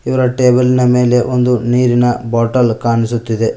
ಇವರ ಟೇಬಲ್ ನ ಮೇಲೆ ಒಂದು ನೀರಿನ ಬಾಟಲ್ ಕಾಣಿಸುತ್ತಿದೆ.